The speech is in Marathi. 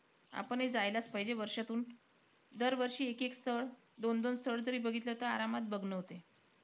आपणही जायलाचं पाहिजे वर्षातून दर वर्षी एक-एक स्थळ, दोन-दोन स्थळ जरी बघितलं, तरी आरामात बघणं होतयं.